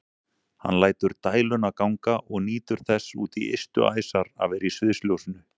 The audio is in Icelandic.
Hann lætur dæluna ganga og nýtur þess út í ystu æsar að vera í sviðsljósinu.